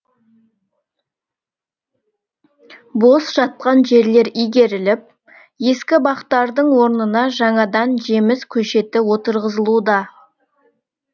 бос жатқан жерлер игеріліп ескі бақтардың орнына жаңадан жеміс көшеті отырғызылуда